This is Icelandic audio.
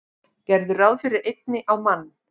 Gerðu ráð fyrir einni á mann.